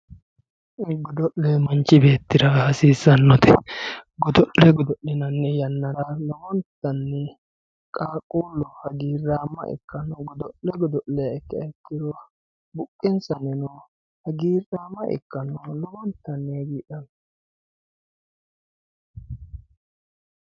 Godole manchi betira hasisanote godole godolinanni yanara lowontanni qaqulle hagirama ikano godole godolleha ikiha ikiro buqensanni hagirama ikano laowontanni hagidhano